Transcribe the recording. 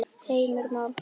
Heimir Már: Hvert?